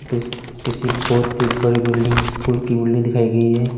किस किसको triple building school की विडियो दिखाई गयी है।